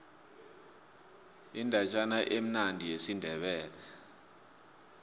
indatjana emnandi yesindebele